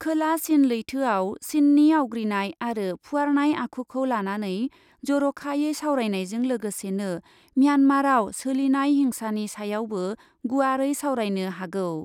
खोला चिन लैथोआव चिननि आवग्रिनाय आरो फुवारनाय आखुखौ लानानै जरखायै सावरायनायजों लोगोसेनो म्यानमारआव सोलिनाय हिंसानि सायावबो गुवारै सावरायनो हागौ।